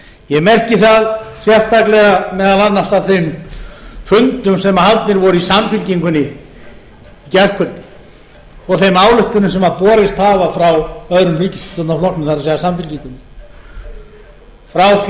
ég merki það sérstaklega meðal annars af þeim fundum sem haldnir voru í samfylkingunni í gærkvöldi og þeim ályktunum sem borist hafa frá öðrum ríkisstjórnarflokknum það er samfylkingunni frá